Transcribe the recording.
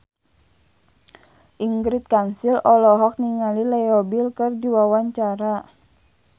Ingrid Kansil olohok ningali Leo Bill keur diwawancara